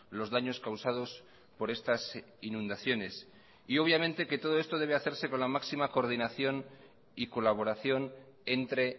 los daños causados por estas inundaciones todo esto debe hacerse con la máxima coordinación y colaboración entre